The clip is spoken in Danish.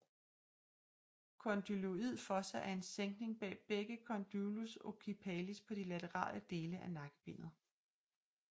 Condyloid fossa er en sænkning bag begge condylus occipitalis på de laterale dele af nakkebenet